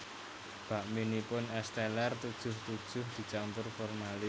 Bakminipun Es Teller tujuh tujuh dicampur formalin